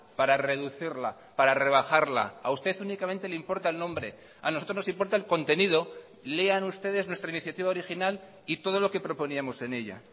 para reducirla para rebajarla a usted únicamente le importa el nombre a nosotros nos importa el contenido lean ustedes nuestra iniciativa original y todo lo que proponíamos en ella